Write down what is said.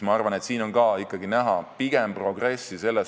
Ma arvan, et siin on ka ikkagi näha pigem progressi.